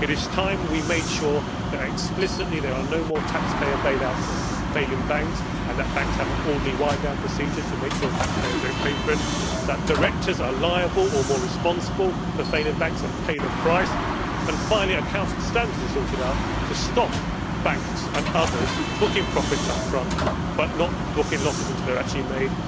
It is time we made sure that explicitly there are no more taxpayer bail outs of failing banks and that banks have an orderly wind down procedure to make sure taxpayers do not pay for it that directors are liable or more responsible for failing banks and pay the price, and finally that accounting standards are sorted out to stop banks and others booking profits up front but not booking losses until they are actually made.